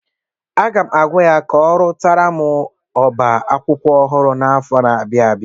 Aga m agwa ya ka ọrụtara m oba akwụkwọ ọhụrụ n'afọ na-abịa abịa.